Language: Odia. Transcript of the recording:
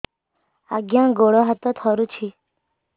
ଆଜ୍ଞା ଗୋଡ଼ ହାତ ଥରୁଛି